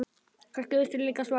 Kannski veistu líka svarið.